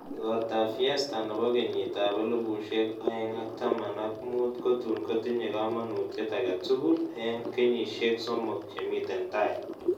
Igoortap fiesta ne po kenyitap elifusiek oeng'ak taman ak muut kotun kotinye kamanutiet agetugul eng kenyisyek somok che miten tai